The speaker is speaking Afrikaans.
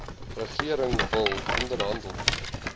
regering wil onderhandel